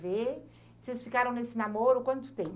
ver. Vocês ficaram nesse namoro há quanto tempo?